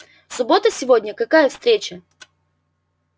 суббота сегодня какая встреча